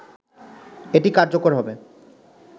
এটি কার্যকর হবে